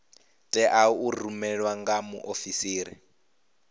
tea u rumelwa nga muofisiri